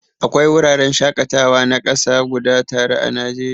Akwai wuraren shakatawa na kasa guda tara a Najeriya.